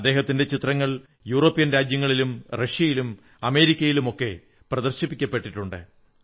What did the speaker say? അദ്ദേഹത്തിന്റെ ചിത്രങ്ങൾ യൂറോപ്യൻ രാജ്യങ്ങളിലും റഷ്യയിലും അമേരിക്കയിലുമൊക്കെ പ്രദർശിപ്പിക്കപ്പെട്ടിട്ടുണ്ട്